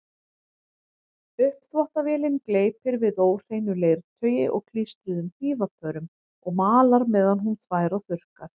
Uppþvottavélin gleypir við óhreinu leirtaui og klístruðum hnífapörum og malar meðan hún þvær og þurrkar.